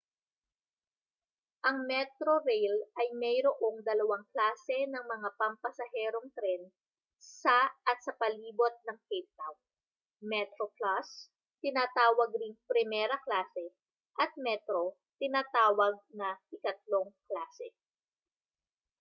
ang metrorail ay mayroong dalawang klase ng mga pampasaherong tren sa at sa palibot ng cape town: metroplus tinatawag ring primera klase at metro tinatawag na ikatlong klase